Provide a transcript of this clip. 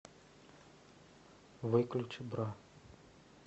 выключи бра